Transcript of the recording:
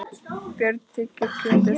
Björn þiggur kjötið.